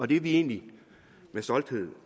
det er vi egentlig med stolthed